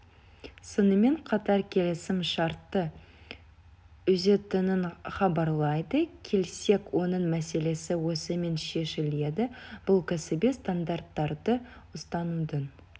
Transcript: сонымен қатар келісім шартты үзетінін хабарлайды келсек оның мәселесі осымен шешіледі бұл кәсіби стандарттарды ұстанудың